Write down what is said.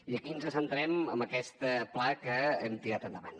i aquí ens centrem en aquest pla que hem tirat endavant